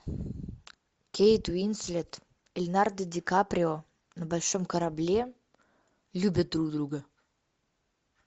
кейт уинслет леонардо ди каприо на большом корабле любят друг друга